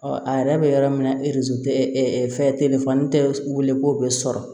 a yɛrɛ bɛ yɔrɔ min na tɛ fɛn telefɔni tɛ wele k'o bɛ sɔrɔ